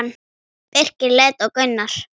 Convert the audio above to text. Birkir leit á Gunnar.